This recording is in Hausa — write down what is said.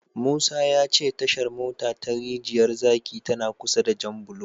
Musa ya ce Tashar mota ta Rijiyar zaki tana kusa da Janbulo.